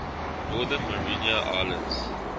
northern mariana islands